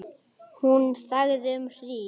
Hún þagði um hríð.